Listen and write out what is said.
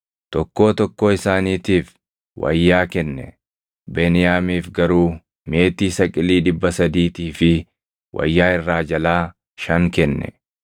Tokkoo tokkoo isaaniitiif wayyaa kenne; Beniyaamiif garuu meetii saqilii dhibba sadiitii fi wayyaa irraa jalaa shan kenne.